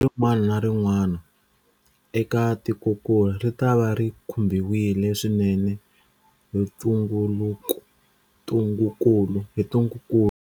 Rin'wana na rin'wana eka tikokulu ritava ri khumbiwile swinene hi ntungukulu.